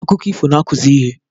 Akụkọ ifo na-akụzi ihe.